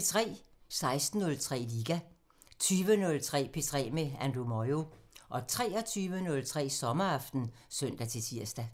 16:03: Liga 20:03: P3 med Andrew Moyo 23:03: Sommeraften (søn-tir)